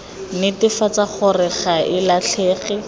netefatsa gore ga e latlhege